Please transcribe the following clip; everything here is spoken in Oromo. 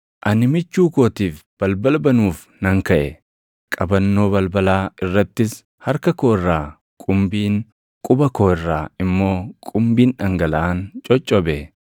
Ani michuu kootiif balbala banuuf nan kaʼe; qabannoo balbalaa irrattis harka koo irraa qumbiin, quba koo irraa immoo qumbiin dhangalaʼaan coccobe.